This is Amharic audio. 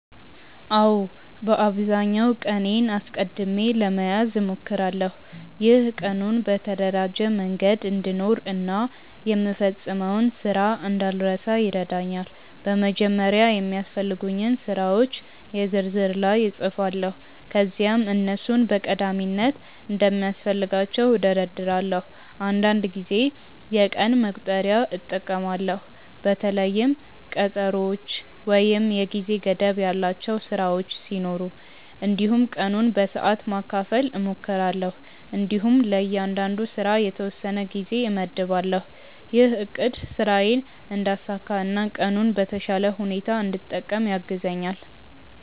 አዎ፣ በአብዛኛው ቀኔን አስቀድሜ ለመያዝ እሞክራለሁ። ይህ ቀኑን በተደራጀ መንገድ እንድኖር እና የምፈጽመውን ስራ እንዳልረሳ ይረዳኛል። በመጀመሪያ የሚያስፈልጉኝን ስራዎች የ ዝርዝር ላይ እጻፋለሁ ከዚያም እነሱን በቀዳሚነት እንደሚያስፈልጋቸው እደርዳለሁ። አንዳንድ ጊዜ የቀን መቁጠሪያ እጠቀማለሁ በተለይም ቀጠሮዎች ወይም የጊዜ ገደብ ያላቸው ስራዎች ሲኖሩ። እንዲሁም ቀኑን በሰዓት ማካፈል እሞክራለሁ እንዲሁም ለእያንዳንዱ ስራ የተወሰነ ጊዜ እመድባለሁ። ይህ አቅድ ስራዬን እንዳሳካ እና ቀኑን በተሻለ ሁኔታ እንድጠቀም ያግዛኛል።